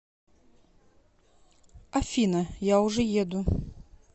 афина я уже еду